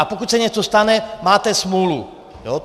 A pokud se něco stane, máte smůlu.